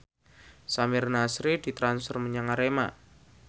Samir Nasri ditransfer menyang Arema